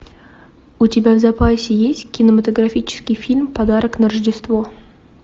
у тебя в запасе есть кинематографический фильм подарок на рождество